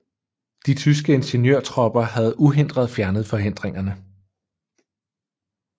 De tyske ingeniørtropper havde uhindret fjernet forhindringerne